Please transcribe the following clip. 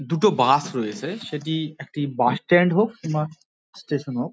দুটো বাস রয়েছে সেটি একটি বাস স্ট্যান্ড হোক বা স্টেশন হোক।